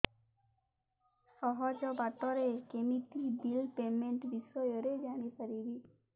ସହଜ ବାଟ ରେ କେମିତି ବିଲ୍ ପେମେଣ୍ଟ ବିଷୟ ରେ ଜାଣି ପାରିବି